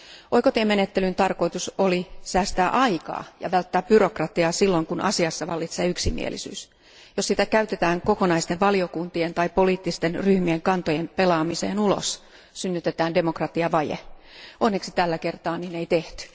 Oikotiemenettelyn tarkoitus oli säästää aikaa ja välttää byrokratiaa silloin, kun asiassa vallitsee yksimielisyys. Jos sitä käytetään kokonaisten valiokuntien tai poliittisten ryhmien kantojen pelaamiseen ulos, synnytetään demokratiavaje. Onneksi tällä kertaa niin ei tehty.